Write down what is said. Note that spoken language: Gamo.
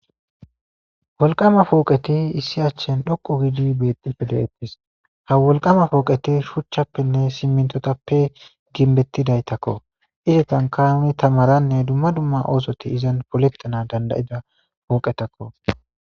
Wolqama pooqeti issi achchen dhoqu giidi bexippe de7ettis ha wolqama pooqeti shuchchappenne simmintotappe ginbettidaytakko isetan kaami tamaranne dumma dumma oosoti izan poleqxana dandayida pooqetakko.